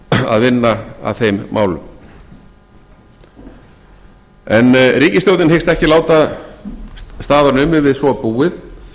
að vinna að þeim málum en ríkisstjórnin hyggst ekki láta staðar numið við svo búið